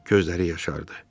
Gözləri yaşardı.